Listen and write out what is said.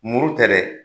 Muru tɛ dɛ